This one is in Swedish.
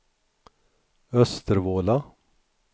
Östervåla